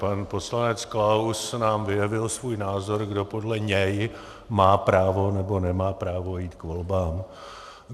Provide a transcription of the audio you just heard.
Pan poslanec Klaus nám vyjevil svůj názor, kdo podle něj má právo nebo nemá právo jít k volbám.